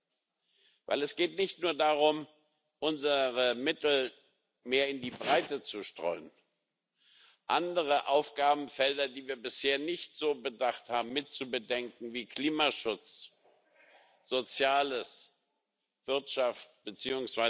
Denn es geht nicht nur darum, unsere Mittel mehr in die Breite zu streuen, andere Aufgabenfelder, die wir bisher nicht so bedacht haben, mit zu bedenken wie Klimaschutz, Soziales, Wirtschaft bzw.